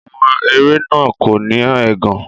Àwọn ẹ̀fẹ̀ náà kò ní ẹ̀gàn.